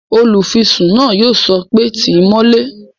Olùfisùn náà yóò sọ pé "tíì mọ́lé!"